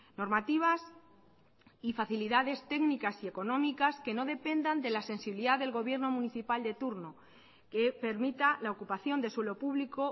normativas y facilidades técnicas y económicas que no dependan de la sensibilidad del gobierno municipal de turno que permita la ocupación de suelo público